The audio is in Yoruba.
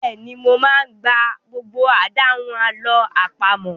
Bẹ́ẹ̀ni, mo máa ń gba gbogbo àdáhùn àlọ́ àpamọ̀.